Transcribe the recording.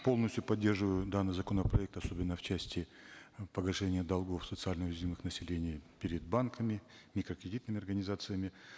полностью поддерживаю данный законопроект особенно в части погашения долгов социально уязвимых населения перед банками микрокредитными организациями